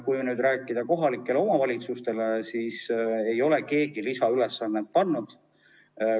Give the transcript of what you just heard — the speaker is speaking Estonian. Kui nüüd rääkida kohalikest omavalitsustest, siis keegi ei ole neile mingit lisaülesannet andnud.